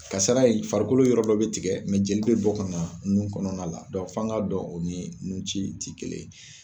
Kasara in farikolo yɔrɔ dɔ be tigɛ mɛ jeli be bɔ ka na nun kɔnɔna dɔnku f'an ga dɔn o ni nun ci te kelen ye